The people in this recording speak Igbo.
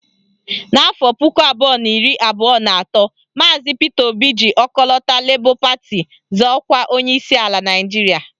N'afọ puku abụọ na iri abụọ na atọ, maazi Pita Obi ji ọkọlọtọ Lebọ pati zọọ ọkwa onyeisi ala Naịjiria